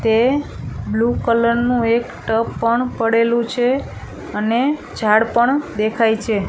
તે blue colour નું એક પણ પડેલું છે અને ઝાડ પણ દેખાય છે.